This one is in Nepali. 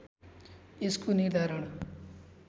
यसको निर्धारण